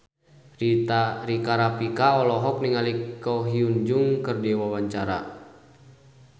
Rika Rafika olohok ningali Ko Hyun Jung keur diwawancara